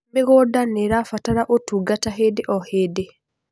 mĩgũnda nĩirabatara utungata hĩndĩ o hĩndĩ